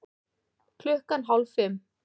Klukkan hálf fimm